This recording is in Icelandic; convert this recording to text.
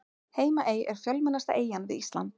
Heimaey er fjölmennasta eyjan við Ísland.